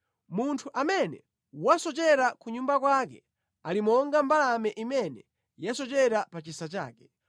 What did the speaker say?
Munthu amene wasochera ku nyumba kwake, ali monga mbalame imene yasochera pa chisa chake.